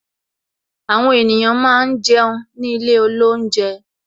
Àwọn ènìyàn máa ń jẹun ní ilé olounje